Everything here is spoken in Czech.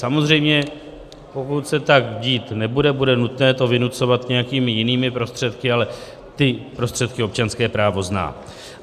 Samozřejmě pokud se tak dít nebude, bude nutné to vynucovat nějakými jinými prostředky, ale ty prostředky občanské právo zná.